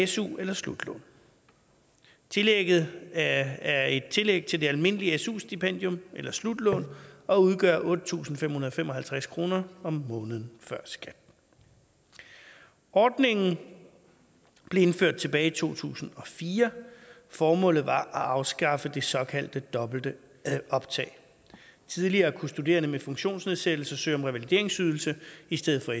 su eller slutlån tillægget er et tillæg til det almindelige su stipendium eller slutlån og udgør otte tusind fem hundrede og fem og halvtreds kroner om måneden før skat ordningen blev indført tilbage i to tusind og fire formålet var at afskaffe det såkaldte dobbelte optag tidligere kunne studerende med funktionsnedsættelser søge om revalideringsydelse i stedet for